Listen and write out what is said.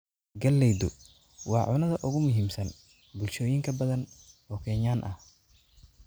Galleydu waa cunnada ugu muhiimsan bulshooyin badan oo Kenyan ah.